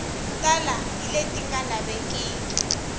tala hi leti nga lavekiki